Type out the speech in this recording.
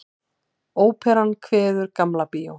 Óperan kveður Gamla bíó